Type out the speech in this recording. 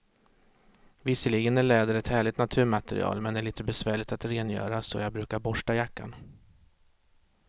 Visserligen är läder ett härligt naturmaterial, men det är lite besvärligt att rengöra, så jag brukar borsta jackan.